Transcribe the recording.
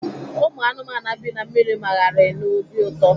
Ụmụ anụmanụ bi na mmiri magharịrị n'obi ụtọ.